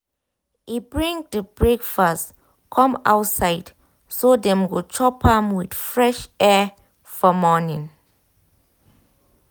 e bring the breakfast come outside so dem go chop am with fresh air for morning.